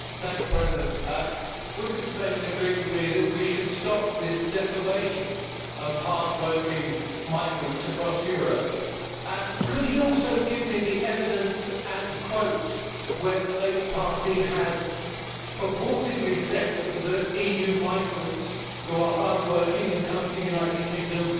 Would Mr Bennion agree with me that we should stop this defamation of hard working migrants across Europe, and could he also give me the evidence and quote where the Labour Party has purportedly said that EU migrants who are hard working and come to the United Kingdom are scroungers?